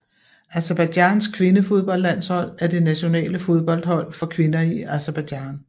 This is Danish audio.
Aserbajdsjans kvindefodboldlandshold er det nationale fodboldhold for kvinder i Aserbajdsjan